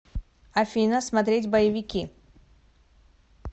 афина смотреть боевики